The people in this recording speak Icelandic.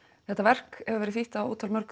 þetta verk hefur verið þýtt á